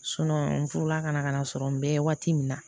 n furula ka na ka na sɔrɔ n bɛ waati min na